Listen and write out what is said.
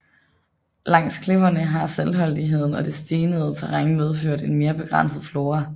Langs klipperne har saltholdigheden og det stenede terræn medført en mere begrænset flora